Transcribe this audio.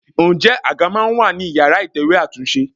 Ǹjẹ́ àga máa ń wà ní ìyára ìtẹ̀wẹ́ àtúnṣe?